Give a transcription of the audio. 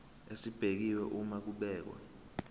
esibekiwe uma kubhekwa